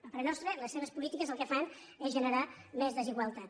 a parer nostre les seves polítiques el que fan és generar més desigualtat